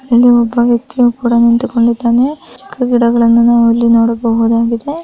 ಇಲ್ಲಿ ಒಬ್ಬ ವ್ಯಕ್ತಿ ಕೂಡ ನಿಂತಿಕೊಂಡಿದ್ದಾನೆ ಚಿಕ್ಕ ಗಿಡಗಳನ್ನು ನಾವು ಇಲ್ಲಿ ನೋಡಬಹುದಾಗಿದೆ.